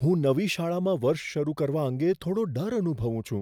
હું નવી શાળામાં વર્ષ શરૂ કરવા અંગે થોડો ડર અનુભવું છું.